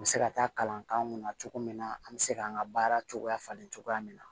N bɛ se ka taa kalan k'an kun na cogo min na an bɛ se k'an ka baara cogoya falen cogoya min na